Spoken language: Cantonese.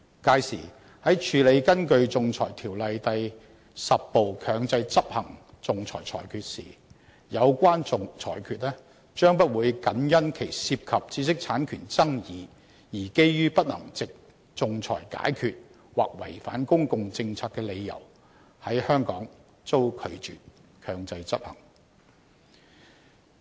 屆時，在處理根據《仲裁條例》第10部強制執行的仲裁裁決時，有關裁決將不會僅因其涉及知識產權爭議而基於不能藉仲裁解決或違反公共政策的理由在香港遭拒絕強制執行。